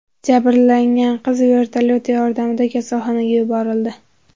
Jabrlangan qiz vertolyot yordamida kasalxonaga yuborildi.